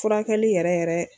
Furakɛli yɛrɛ yɛrɛ